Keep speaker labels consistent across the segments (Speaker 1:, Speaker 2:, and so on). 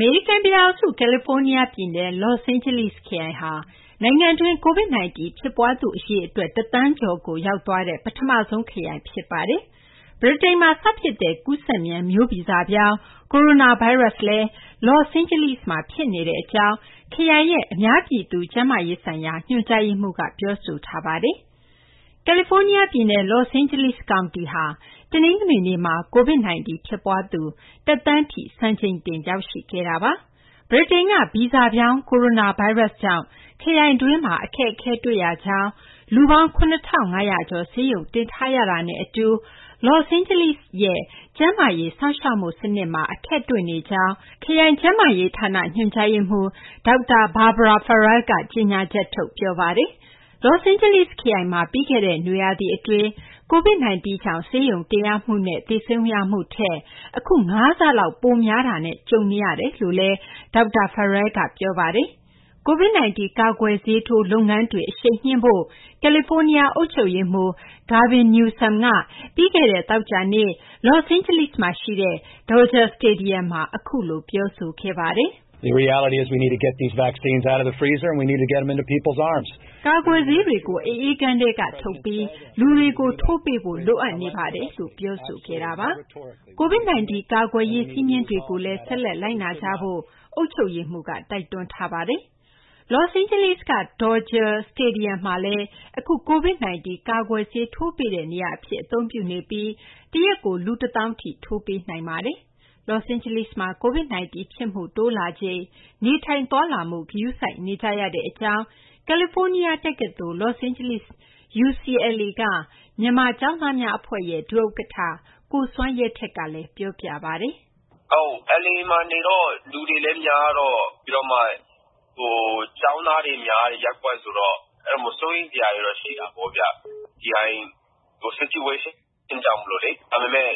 Speaker 1: မေရိကန်ပြည်ထောင်စု ကယ်လီဖိုးနီးယားပြည်နယ် Los Angeles ခရိုင်ဟာ နိုင်ငံတွင်း COVID-19 ဖြစ်ပွားသူ အရေအတွက် ၁ သန်းကျော်ကို ရောက်သွားတဲ့ ပထမဆုံးခရိုင် ဖြစ်ပါတယ်။ ဗြိတိန်မှာစဖြစ်တဲ့ ကူးစက်မြန် မျိုးဗီဇပြောင်း ကိုရိုနာဗိုင်းရပ်စ်လည်း Los Angeles မှာ ဖြစ်နေကြောင်း ခရိုင်ရဲ့ အများပြည်သူ ကျန်းမာရေးဆိုင်ရာ ညွှန်ကြားရေးမှူးက ပြောဆိုထားပါတယ်။ အပြည့်အစုံကို မသိင်္ဂီထိုက် စုစည်းတင်ပြထားပါတယ်။ ကယ်လီဖိုးနီးယားပြည်နယ် Los Angeles ကောင်တီဟာ တနင်္ဂနွေနေ့မှာ COVID-19 ဖြစ်ပွားသူ ၁ သန်းထိ စံချိန်တင် ရောက်ရှိခဲ့တာပါ။ ဗြိတိန်က ဗီဇပြောင်း ကိုရိုနာဗိုင်းရပ်စ်ကြောင့် ခရိုင်တွင်းမှာ အခက်အခဲတွေ့နေကြောင်း၊ လူပေါင်း ၇,၅၀၀ ကျော် ဆေးရုံတင်ထားရတာနဲ့အတူ Los Angeles ခရိုင်ရဲ့ ကျန်းမာရေးစောင့်ရှောက်မှုစနစ်မှာ အခက်တွေ့နေကြောင်း ခရိုင်ကျန်းမာရေးဌာန ညွှန်ကြားရေးမှူး ဒေါက်တာ Barbara Ferrer က ကြေညာချက်ထုတ် ပြောဆိုခဲ့တာပါ။ Los Angeles ခရိုင်မှာ ပြီးခဲ့တဲ့ နွေရာသီအတွင်း COVID-19 ကြောင့် ဆေးရုံတင်ရမှုနဲ့ သေဆုံးမှုထက် အခု ၅ ဆလောက် ပိုများနေတာနဲ့ ကြုံနေရတယ်လို့လည်း ဒေါက်တာ Ferrer က ပြောပါတယ်။ COVID-19 ကာကွယ်ဆေးထိုး လုပ်ငန်းတွေ အရှိန်မြှင့်ဖို့ ကယ်လီဖိုးနီးယား အုပ်ချုပ်ရေးမှူး Gavin Newsom က ပြီးခဲ့တဲ့ သောကြာနေ့က Los Angeles မှာရှိတဲ့ Dodger Stadium မှာ အခုလို ပြောဆိုခဲ့ပါတယ်။ “ကာကွယ်ဆေးတွေကို အအေးခန်းထဲကထုတ်ပြီး လူတွေကို ထိုးပေးဖို့ လိုအပ်နေတာပါ။” COVID-19 ကာကွယ်ရေး စည်းမျဉ်းတွေကိုလည်း ဆက်လက် လိုက်နာကြဖို့လည်း အုပ်ချုပ်ရေးမှူးက တိုက်တွန်းသွားပါတယ်။ Los Angeles က Dodger Stadium မှာလည်း အခု COVID-19 ကာကွယ်ဆေးထိုးပေးတဲ့ နေရာအဖြစ် အသုံးပြုနေပြီး တရက်ကို လူ ၁၀,၀၀၀ ထိ ထိုးပေးနိုင်ပါတယ်။ Los Angeles မှာ COVID-19 ဖြစ်မှု တိုးလာချိန် နေထိုင်သွားလာမှု ဂရုစိုက်နေကြရတဲ့အကြောင်း ကယ်လီဖိုးနီးယားတက္ကသိုလ် Los Angeles UCLA က မြန်မာကျောင်းသားများအဖွဲ့ရဲ့ ဒုဥက္ကဋ္ဌ ကိုစွမ်းရဲထွဋ်ကလည်း ပြောပြပါတယ်။
Speaker 2: “LA မှာနေတော့ လူတွေလည်းများတော့၊ ပြီးတော့ ကျောင်းသားတွေများတဲ့ ရပ်ကွက်ဆိုတော့ စိုးရိမ်စရာတွေတော့ ရှိတာပေါ့။ Situation ကြောင့်မို့လေ။ ဒါပေမယ့်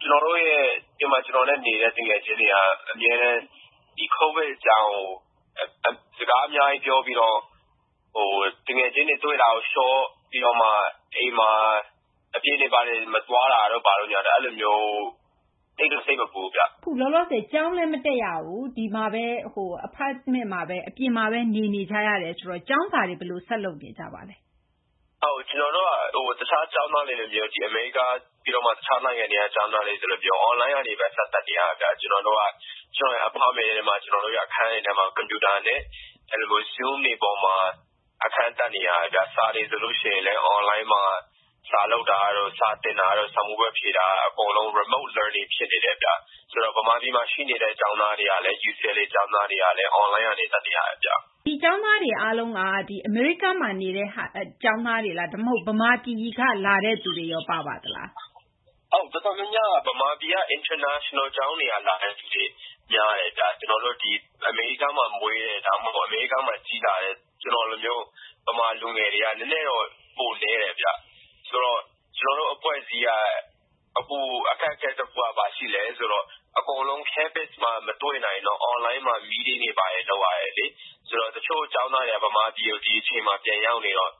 Speaker 2: ဒီမှာ ကျနော်နဲ့နေတဲ့ သူငယ်ချင်းတွေက ကိုဗစ်အကြောင်းကို စကားအများကြီး ပြောပြီးတော့ သူငယ်ချင်းနဲ့ တွေ့တာကို လျှော့၊ ပြီးတော့ အပြင်တွေ ဘာတွေ မသွားတာမျိုး အဲဒါမျိုး၊ သိပ်တော့ စိတ်မပူဘူးဗျ။”
Speaker 3: အခုလောလောဆယ် ကျောင်းလည်း မတက်ရဘူး၊ အပြင် Apartment မှာပဲ နေနေကြရတယ်ဆိုတော့ ကျောင်းစာတွေ ဘယ်လို ဆက်လုပ်နေကြပါလဲ။
Speaker 2: “ကျနော်တို့က တခြားကျောင်းသားတွေလိုမျိုး၊ အမေရိကားမှာတက်တဲ့ တခြားနိုင်ငံတွေက ကျောင်းသားတွေလိုမျိုး အွန်လိုင်းကနေပဲ ဆက်တက်နေရတယ်။ ကျနော်တို့ရဲ့ Apartment အခန်းတွေထဲမှာ ကွန်ပျူတာနဲ့ Zoom တွေပေါ်မှာ အခန်းတက်နေရတယ်။ စာတွေဆိုလည်း အွန်လိုင်းမှာ စာလုပ်တာတို့၊ စာသင်တာတို့၊ စာမေးပွဲဖြေတာ အကုန်လုံး Remote Learning ဖြစ်နေတယ်ဗျ။ မြန်မာပြည်မှာရှိနေတဲ့ UCLA ကျောင်းသားတွေကလည်း အွန်လိုင်းကနေ တက်နေရတယ်။”
Speaker 3: ဒီကျောင်းသားတွေ အားလုံးက အမေရိကားမှာနေတဲ့ ကျောင်းသားတွေလား၊ ဒါမှမဟုတ် ဗမာပြည်ကလာတဲ့သူတွေရော ပါပါသလား။
Speaker 2: “တော်တော်များများက ဗမာပြည်က အင်တာနေရှင်နယ် ကျောင်းတွေက လာတဲ့လူတွေများတယ်။ အမေရိကားမှာမွေးတဲ့ ဒါမှမဟုတ် အမေရိကားမှာ ကြီးလာတဲ့ ကျနော့်လိုမျိုး ဗမာလူငယ်တွေက နည်းနည်းတော့ ပိုနည်းတယ်။ ဆိုတော့ ကျနော်တို့အဖွဲ့အစည်းက အပိုအခက်အခဲတခုက ဘာရှိလဲဆိုတော့ အကုန်လုံး Campus မှာ မတွေ့နိုင်တော့ အွန်လိုင်းမှာ Meeting တွေဘာတွေ လုပ်ရတယ်လေ။ တချို့ကျောင်းသားတွေက ဗမာပြည်ကို ဒီအချိန်မှာ ပြန်ရောက်နေတော့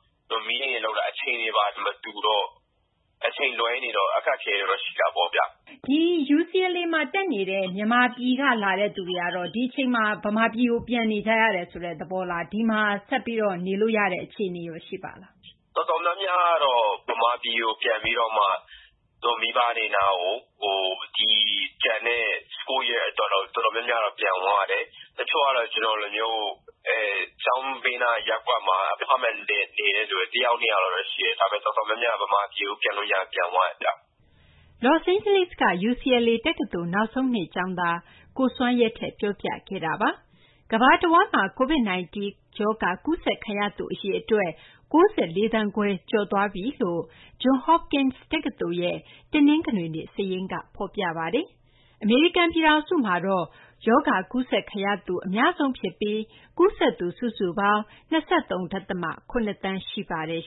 Speaker 2: Meeting လုပ်တာ အချိန်တွေဘာတွေ မတူတော့ အချိန်လွဲနေတော့ အခက်အခဲတော့ ရှိတာပေါ့။”
Speaker 3: ဒီ UCLA မှာတက်နေတဲ့ မြန်မာပြည်က လာတဲ့သူတွေကတော့ ဒီအချိန်မှာ မြန်မာပြည်ကို ပြန်နေကြရတယ်ဆိုတဲ့ သဘောလား၊ ဒီမှာဆက်ပြီး နေလို့ရတဲ့ အခြေအနေရော ရှိပါသလား။
Speaker 2: “တော်တော်များများကတော့ ဗမာပြည်ကို ပြန်ပြီးတော့မှ ကိုယ့်မိဘတွေနား တော်တော်များများ ပြန်သွားတယ်။ တချို့ကတော့ ကျနော့်လိုမျိုး ကျောင်းဘေးနားက ရပ်ကွက်မှာ Apartment နဲ့နေတဲ့လူမျိုး တယောက်နှစ်ယောက်ပဲရှိတယ်။ ဒါပေမယ့် တော်တော်များများက ဗမာပြည်ကို ပြန်လို့ရရင် ပြန်သွားကြတယ်ဗျ။”
Speaker 1: Los Angeles က UCLA တက္ကသိုလ် နောက်ဆုံးနှစ်ကျောင်းသား ကိုစွမ်းရဲထွဋ် ပြောပြခဲ့တာပါ။ ကမ္ဘာတဝန်းမှာ COVID-19 ရောဂါ ကူးစက်ခံရသူ အရေအတွက် ၉၄ သန်းခွဲ ကျော်သွားပြီဖြစ်တယ်လို့ Johns Hopkins တက္ကသိုလ်ရဲ့ တနင်္ဂနွေနေ့စာရင်းက ဖော်ပြပါတယ်။ အမေရိကန်ပြည်ထောင်စုက ရောဂါကူးစက်ခံရသူ အများဆုံးဖြစ်ပြီး ကူးစက်သူ စုစုပေါင်း ၂၃.၇ သန်း ရှိပါတယ်